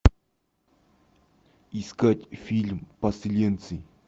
искать фильм поселенцы